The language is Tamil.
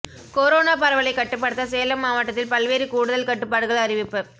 கொரோனா பரவலை கட்டுப்படுத்த சேலம் மாவட்டத்தில் பல்வேறு கூடுதல் கட்டுப்பாடுகள் அறிவிப்பு